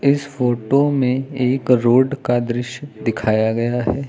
इस फोटो में एक रोड का दृश्य दिखाया गया है।